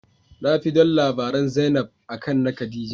Nafi don labaran zainab, Akan na Khadijah.